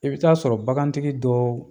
I bɛ taa sɔrɔ bagantigi dɔ